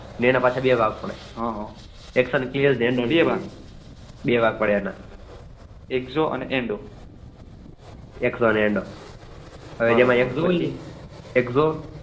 એના પાછા બે ભાગ પડે બે ભાગ પડે આને